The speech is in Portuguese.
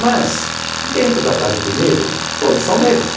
Mas, dentro da casa do negro, todos são negros.